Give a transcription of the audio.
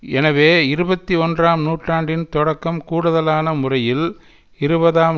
எனவே இருபத்தி ஒன்றாம் நூற்றாண்டின் தொடக்கம் கூடுதலான முறையில் இருபதாம்